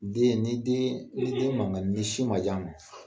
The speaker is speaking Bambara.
Den, ni deen ni den maŋa ni sin ma di a ma